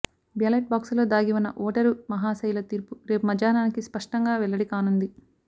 ballot బాక్సుల్లో దాగి ఉన్న ఓటరు మహాశయుల తీర్పు రేపు మధ్యాహ్నానికి స్పష్టంగా వెల్లడికానుంది